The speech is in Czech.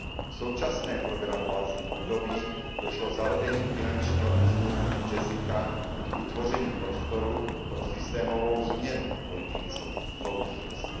V současném programovacím období došlo zavedením finančního instrumentu JESSICA k vytvoření prostoru pro systémovou změnu politiky soudržnosti.